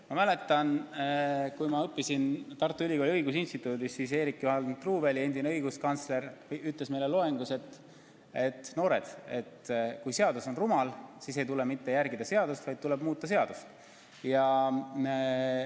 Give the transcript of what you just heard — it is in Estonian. Ma mäletan, et kui ma õppisin Tartu Ülikooli õigusinstituudis, siis Eerik-Juhan Truuväli, endine õiguskantsler, ütles meile loengus: noored, kui seadus on rumal, siis ei tule mitte järgida seadust, vaid tuleb muuta seadust.